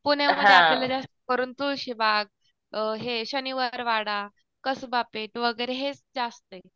पुण्यामध्ये आपल्याला जास्त करून तुळशीबाग अ हे शनिवार वाडा कसबा पेठ वगैरे हेच जास्त ये.